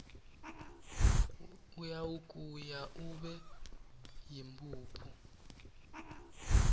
uyawugaya ube yimphuphu